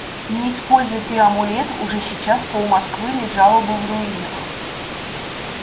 не используй ты амулет уже сейчас пол-москвы лежало бы в руинах